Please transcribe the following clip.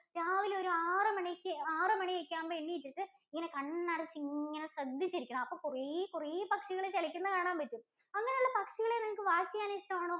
രാവിലെ ഒരു ആറുമണിക്ക് ആറുമണി ഒക്കെ ആവുമ്പൊ എണീറ്റിട്ട് ഇങ്ങനെ കണ്ണടച്ചിങ്ങനെ ശ്രദ്ധിച്ചിരിക്കണം. അപ്പൊ കുറേ കുറേ പക്ഷികൾ ചെലയ്ക്കുന്നെ കാണാൻ പറ്റും. അങ്ങനെ ഉള്ള പക്ഷികളെ നിങ്ങൾക്ക് watch ചെയ്യാൻ ഇഷ്ടമാണ്?